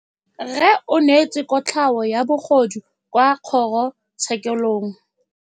Rragwe o neetswe kotlhaô ya bogodu kwa kgoro tshêkêlông.